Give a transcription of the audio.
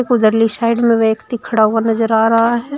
उधरली side में व्यक्ति खड़ा हुआ नजर आ रहा है।